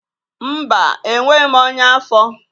Mba, enweghị m ọnya afọ